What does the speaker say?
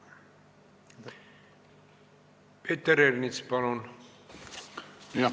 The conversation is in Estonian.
Peeter Ernits, palun!